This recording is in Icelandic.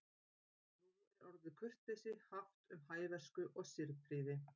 Nú er orðið kurteisi haft um hæversku eða siðprýði.